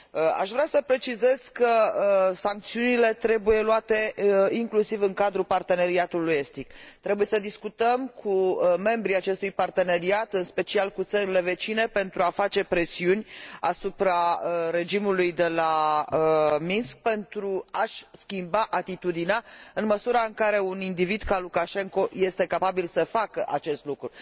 Aș vrea să precizez că sancțiunile trebuie luate inclusiv în cadrul Parteneriatului Estic. Trebuie să discutăm cu membrii acestui parteneriat, în special cu țările vecine, pentru a face presiuni asupra regimului de la Minsk, pentru ca acesta să își schimbe atitudinea, în măsura în care un individ ca Lukașenko este capabil să facă acest lucru.